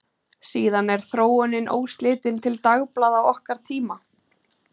Síðan er þróunin óslitin til dagblaða okkar tíma.